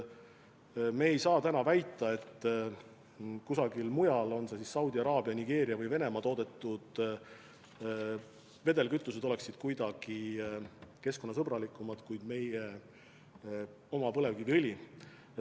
Me ei saa ju täna väita, et kusagil mujal, olgu Saudi Araabias, Nigeerias või Venemaal toodetud vedelkütused on kuidagi keskkonnasõbralikumad kui meie oma põlevkiviõli.